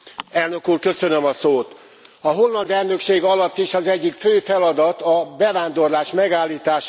A holland elnökség alatt is az egyik fő feladat a bevándorlás megállítása lett volna.